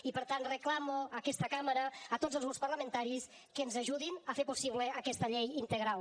i per tant reclamo a aquesta cambra a tots els grups parlamentaris que ens ajudin a fer possible aquesta llei integral